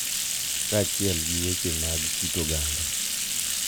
Kaachiel gi weche mag kit oganda,